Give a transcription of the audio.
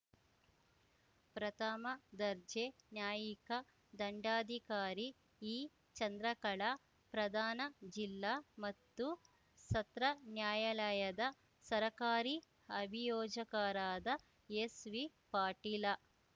ಪ್ರಥಮ ದರ್ಜೆ ನ್ಯಾಯಿಕ ದಂಡಾಧಿಕಾರಿ ಇಚಂದ್ರಕಳಾ ಪ್ರಧಾನ ಜಿಲ್ಲಾ ಮತ್ತು ಸತ್ರ ನ್ಯಾಯಾಲಯದ ಸರಕಾರಿ ಅಭಿಯೋಜಕರಾದ ಎಸ್‌ವಿಪಾಟೀಲ